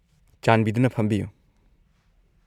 -ꯆꯥꯟꯕꯤꯗꯨꯅ ꯐꯝꯕꯤꯌꯨ꯫